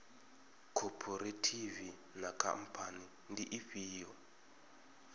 khophorethivi na khamphani ndi ifhio